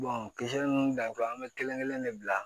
kisɛ nunnu dan an be kelen kelen ne bila